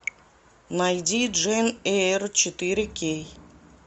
найди джейн эйр четыре кей